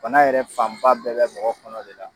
Bana yɛrɛ fanba bɛɛ bɛ mɔgɔ kɔnɔ de la.